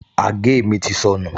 Àgé mi ti sọnù